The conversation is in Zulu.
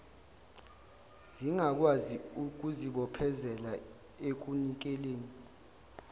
zingakwazi ukuzibophezelela ekunikeleni